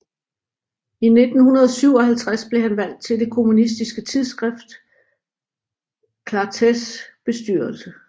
I 1957 blev han valgt til det kommunistiske tidsskrift Clartés bestyrelse